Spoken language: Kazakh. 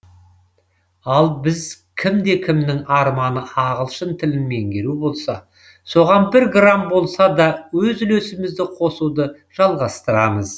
ал біз кімде кімнің арманы ағылшын тілін меңгеру болса соған бір грамм болса да өз үлесімізді қосуды жалғастырамыз